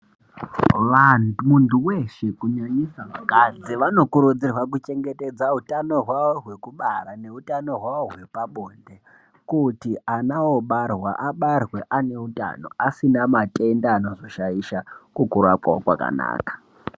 Muntu weshe kunyanyisa vakadzi vanokurudzirwa kuchengetedza hutano hwavo rwekubara nehutano hwavo hwepabonde kuti ana obarwa abarwe aine utano asina matenda anotoshaisha kukura kwavo kwakanaka .